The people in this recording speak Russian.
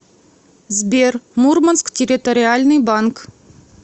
сбер мурманск территориальный банк